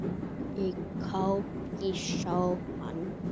Það er kók fyrir sófann.